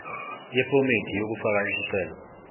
yephomedi yokufaka isicelo